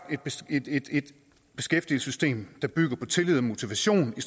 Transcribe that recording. et beskæftigelsessystem der bygger på tillid og motivation i